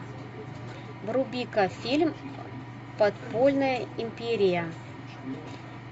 вруби ка фильм подпольная империя